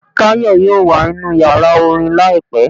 Tayo yóò wa ninú ìyára orín laípẹ